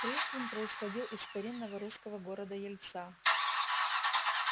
пришвин происходил из старинного русского города ельца